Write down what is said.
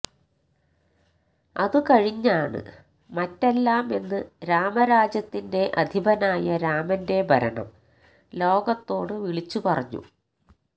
അത് കഴിഞ്ഞാണ് മറ്റെല്ലാമെന്ന് രാമരാജ്യത്തിന്റെ അധിപനായ രാമന്റെ ഭരണം ലോകത്തോട് വിളിച്ചുപറഞ്ഞു